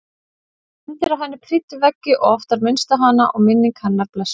Myndir af henni prýddu veggi og oft var minnst á hana og minning hennar blessuð.